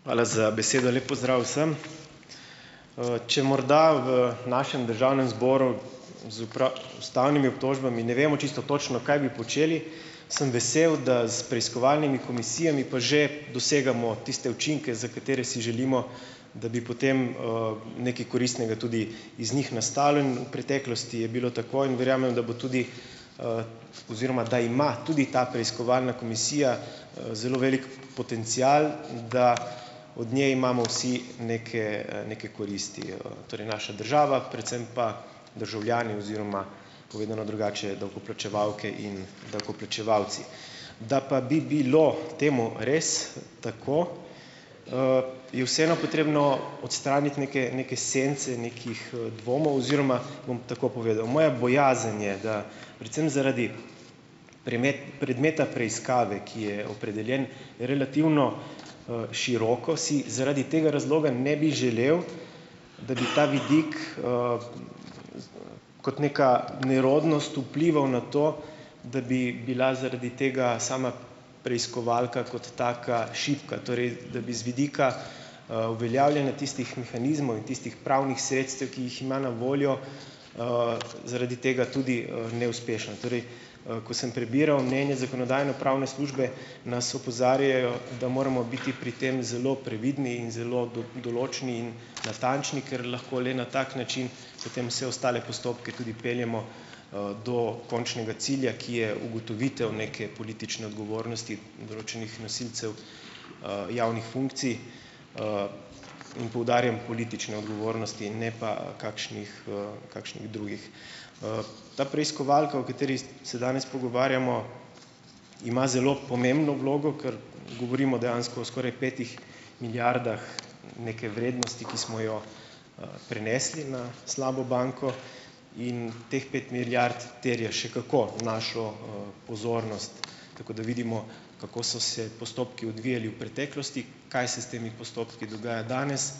Hvala za besedo. Lep pozdrav vsem! Če morda v našem državnem zboru z ustavnimi obtožbami ne vemo čisto točno, kaj bi počeli, sem vesel, da s preiskovalnimi komisijami pa že dosegamo tiste učinke, za katere si želimo, da bi potem, nekaj koristnega tudi iz njih nastalo in v preteklosti je bilo tako in verjamem, da bo tudi, oziroma da ima tudi ta preiskovalna komisija, zelo velik potencial, da od nje imamo vsi neke, neke koristi, Torej, naša država, predvsem pa državljani oziroma povedano drugače, davkoplačevalke in davkoplačevalci. Da pa bi bilo temu res tako, je vseeno potrebno odstraniti neke neke sence nekih, dvomov oziroma bom tako povedal, moja bojazen je, da predvsem zaradi predmeta preiskave, ki je opredeljen relativno, široko, si zaradi tega razloga ne bi želel, da bi ta vidik, kot neka nerodnost vplival na to, da bi bila zaradi tega sama preiskovalka kot taka šibka, torej da bi z vidika, uveljavljanja tistih mehanizmov in tistih pravnih sredstev, ki jih ima na voljo, zaradi tega tudi, neuspešna. Torej, ko sem prebiral mnenje zakonodajno-pravne službe, nas opozarjajo, da moramo biti pri tem zelo previdni in zelo določni in natančni, ker lahko le na tak način potem vse ostale postopke tudi peljemo, do končnega cilja, ki je ugotovitev neke politične odgovornosti določenih nosilcev, javnih funkcij, in poudarjam politične odgovornosti, ne pa kakšnih, kakšnih drugih. Ta preiskovalka, o kateri se danes pogovarjamo, ima zelo pomembno vlogo, kar govorimo dejansko o skoraj petih milijardah neke vrednosti, ki smo jo, prenesli na slabo banko. In teh pet milijard terja še kako našo, pozornost, tako da vidimo, kako so se postopki odvijali v preteklosti, kaj se s temi postopki dogaja danes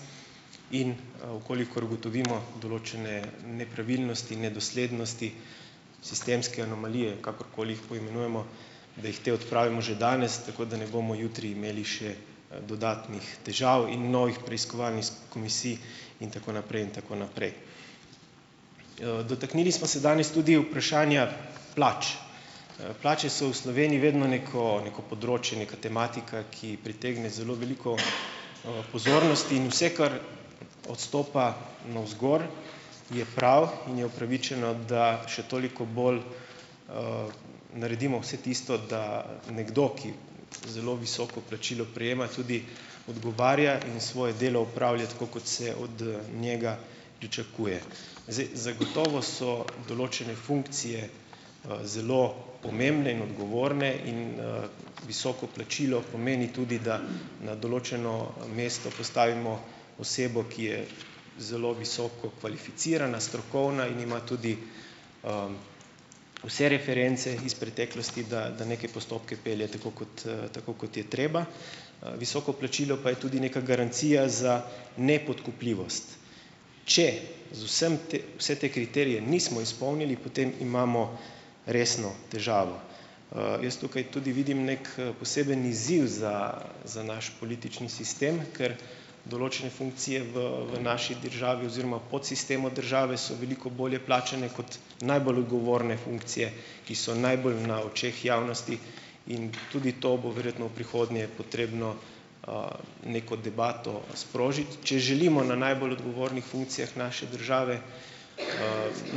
in, v kolikor ugotovimo določene nepravilnosti, nedoslednosti, sistemske anomalije, kakorkoli jih poimenujemo, da jih te odpravimo že danes, tako da ne bomo jutri imeli še, dodatnih težav in novih preiskovalnih komisij in tako naprej in tako naprej. Dotaknili smo se danes tudi vprašanja plač. Plače so v Sloveniji vedno neko, neko področje, neka tematika, ki pritegne zelo veliko, pozornost in vse, kar odstopa navzgor, je prav in je upravičeno, da še toliko bolj, naredimo vse tisto, da nekdo, ki zelo visoko plačilo prejema, tudi odgovarja in svoje delo opravlja tako, kot se od, njega pričakuje. Zdaj, zagotovo so določene funkcije, zelo pomembne in odgovorne in, visoko plačilo pomeni tudi, da na določeno, mesto postavimo osebo, ki je zelo visoko kvalificirana, strokovna in ima tudi, vse reference iz preteklosti, da da neke postopke pelje, tako kot, tako kot je treba. Visoko plačilo pa je tudi neka garancija za nepodkupljivost. Če z vsem te vse te kriterije nismo izpolnili, potem imamo resno težavo. Jaz tukaj tudi vidim neki, poseben izziv za za naš politični sistem, ker določene funkcije v v naši državi oziroma podsistemu države so veliko bolje plačane kot najbolj odgovorne funkcije, ki so najbolj na očeh javnosti, in tudi to bo verjetno v prihodnje potrebno, neko debato sprožiti. Če želimo na najbolj odgovornih funkcijah naše države,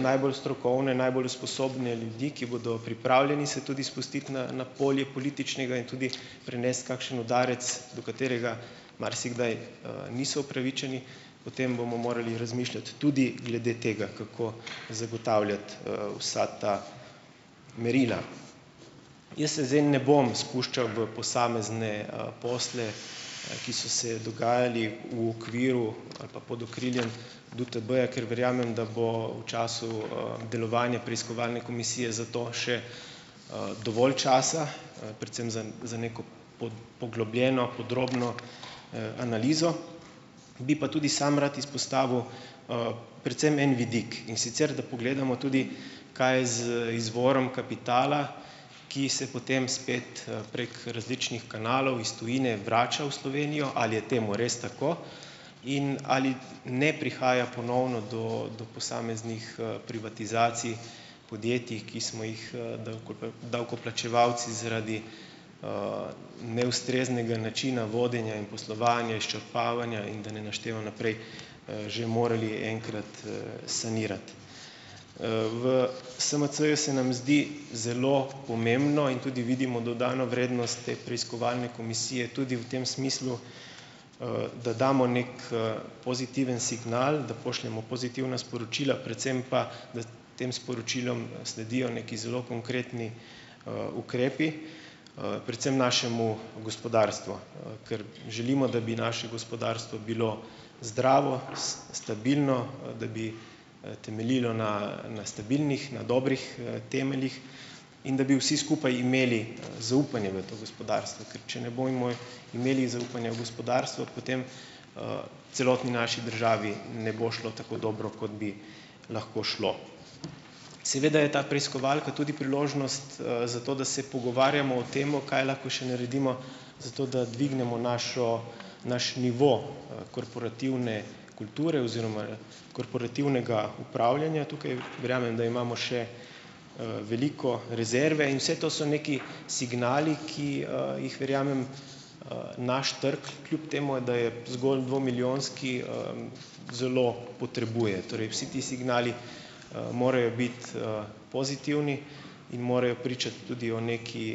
,najbolj strokovne, najbolj usposobljene ljudi, ki bodo pripravljeni se tudi spustiti na na polje političnega in tudi prenesti kakšen udarec, do katerega marsikdaj, niso upravičeni, potem bomo morali razmišljati tudi glede tega, kako zagotavljati, vsa ta merila. Jaz se zdaj ne bom spuščal v posamezne, posle, ki so se dogajali v okviru ali pa pod okriljem DUTB-ja, ker verjamem, da bo v času, delovanja preiskovalne komisije za to še, dovolj časa, predvsem za za neko poglobljeno, podrobno, analizo, bi pa tudi sam rad izpostavil, predvsem en vidik, in sicer, da pogledamo tudi kaj je z izvorom kapitala, ki se potem spet, prek različnih kanalov iz tujine vrača v Slovenijo - ali je temu res tako? In ali ne prihaja ponovno do do posameznih, privatizacij podjetjih, ki smo jih, davkoplačevalci zaradi, neustreznega načina vodenja in poslovanja, izčrpavanja - in da ne naštevam naprej - že morali enkrat, sanirati. V SMC-ju se nam zdi zelo pomembno in tudi vidimo dodano vrednost te preiskovalne komisije, tudi v tem smislu, da damo neki, pozitiven signal, da pošljemo pozitivna sporočila, predvsem pa, da tem sporočilom sledijo neki zelo konkretni, ukrepi, predvsem našemu gospodarstvu, ker želimo, da bi naše gospodarstvo bilo zdravo, stabilno, da bi, temeljilo na, na stabilnih, na dobrih, temeljih in da bi vsi skupaj imeli, zaupanje v to gospodarstvo, ker če ne bomo imeli zaupanja v gospodarstvo, potem, celotni naši državi ne bo šlo tako dobro, kot bi lahko šlo. Seveda je ta preiskovalka tudi priložnost, za to, da se pogovarjamo o tem, kaj lahko še naredimo, zato, da dvignemo našo naš nivo, korporativne kulture oziroma korporativnega upravljanja. Tukaj verjamem, da imamo še, veliko rezerve in vse to so neki signali, ki, jih - verjamem - naš trg, kljub temu da je zgolj dvomilijonski zelo potrebuje. Torej, vsi ti signali, morajo biti, pozitivni in morajo pričati tudi o neki,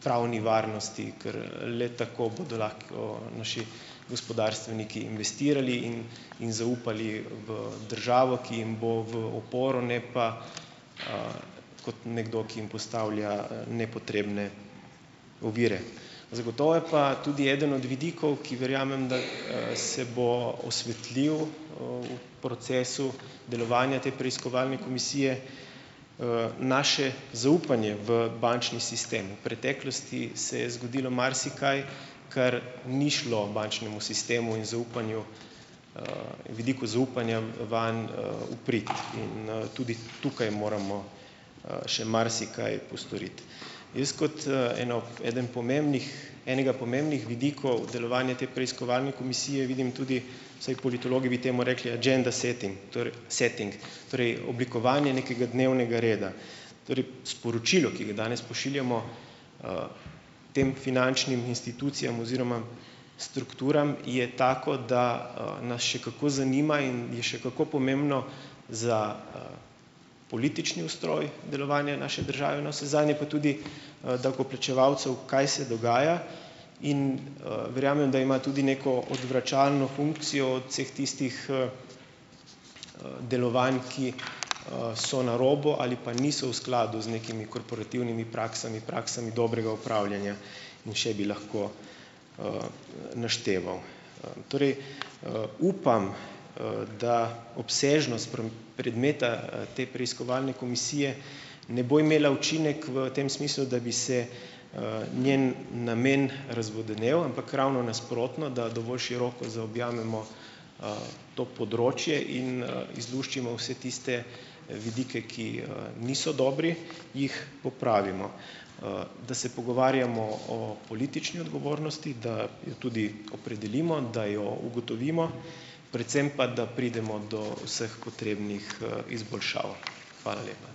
neki pravni varnosti, ker, le tako bodo lahko naši gospodarstveniki investirali in in zaupali v državo, ki jim bo v oporo, ne pa, kot nekdo, ki jim postavlja, nepotrebne ovire. Zagotovo je pa tudi eden od vidikov, ki verjamem, da se bo osvetlil v procesu delovanja te preiskovalne komisije - naše zaupanje v bančni sistem. V preteklosti se je zgodilo marsikaj, kar ni šlo bančnemu sistemu in zaupanju, in vidiku zaupanja, vam, v prid in, tudi tukaj moramo, še marsikaj postoriti. Jaz kot, eno eden pomembnih, enega pomembnih vidikov delovanja te preiskovalne komisije vidim tudi, vsaj politologi bi temu rekli, "agenda setting", torej setting torej oblikovanje nekega dnevnega reda. Torej sporočilo, ki ga danes pošiljamo, tem finančnim institucijam oziroma strukturam, je tako, da, nas še kako zanima in je še kako pomembno za, politični ustroj delovanja naše države, navsezadnje pa tudi davkoplačevalcev, kaj se dogaja, in, verjamem, da ima tudi neko odvračalno funkcijo od vseh tistih, delovanj, ki, so na robu ali pa niso v skladu z nekimi korporativnimi praksami, praksami dobrega upravljanja in še bi lahko, našteval. Torej, upam, da obsežnost predmeta, te preiskovalne komisije ne bo imela učinek v tem smislu, da bi se, njen namen razvodenel, ampak ravno nasprotno, da dovolj široko zaobjamemo, to področje in, izluščimo vse tiste, vidike, ki, niso dobri, jih popravimo. Da se pogovarjamo o politični odgovornosti, da jo tudi opredelimo, da jo ugotovimo, predvsem pa da pridemo do vseh potrebnih, izboljšav. Hvala lepa.